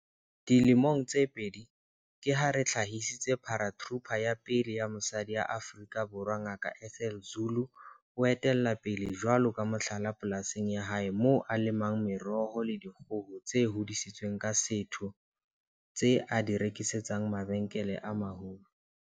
Dilemong tse pedi, ke ha re hlahisitse Paratrooper ya pele ya mosadi Afrika Borwa Ngaka Ethel Zulu o etella pele jwalo ka mohlala polasing ya hae moo a lemang meroho le dikgoho tse hodisitsweng ka setho tse a di rekisetsang mabenkele a maholo.